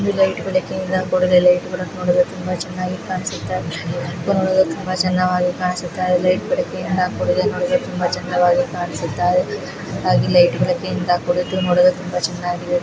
ಈ ಲೈಟ್ ಬೆಳಕಿಂದ ಕೂಡಿದೆ ಲೈಟ ಬೆಳಕು ನೋಡಿದರೆ ತುಂಬಾ ಚೆನ್ನಾಗಿ ಕಾಣುತಿದೆ ತುಂಬ ಚೆನ್ನಾಗಿ ಕಾಣಿಸುತ ಇದೆ ಲೈಟ್ಗಳು ತುಂಬ ಚೆನ್ನಾಗಿ ಕಾಣುಸುತಿದೆ ಲೈಟುಗಳಿಂದ ಕೂಡಿದ ತುಂಬ ಚೆನ್ನಾಗಿ ಕಾಣುತಿದೆ .